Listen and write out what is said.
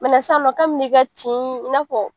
sisan nɔ kabin'i ka tin i n'a fɔ